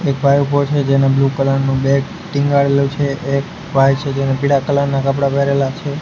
એક ભાઈ ઊભો છે જેને બ્લુ કલર નુ બેગ ટીંગાડેલુ છે એક ભાઈ છે જેને પીડા કલર ના કપડા પહેરેલા છે.